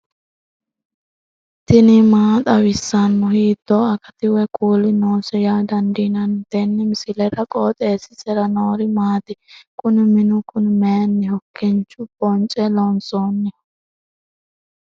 tini maa xawissanno ? hiitto akati woy kuuli noose yaa dandiinanni tenne misilera? qooxeessisera noori maati? kuni minu kuni mayinniho kincho bonce loonsoonniho ?